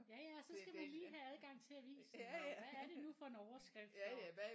Ja ja og så skal man lige have adgang til avisen og hvad er det nu for en overskrift og